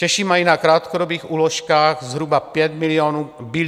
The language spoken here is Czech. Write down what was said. Češi mají na krátkodobých úložkách zhruba 5 bilionů korun.